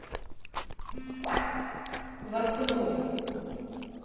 воркуту